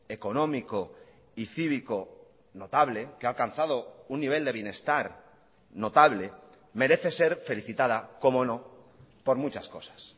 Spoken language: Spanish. económico y cívico notable que ha alcanzado un nivel de bienestar notable merece ser felicitada cómo no por muchas cosas